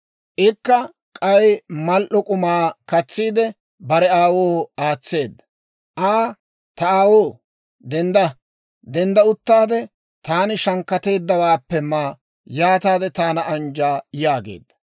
Ikka k'ay mal"o k'umaa katsiide, bare aawoo aatseedda. Aa, «Ta aawoo, dendda; dendda uttaade, taani shankkateeddawaappe ma; yaataade taana anjja» yaageedda.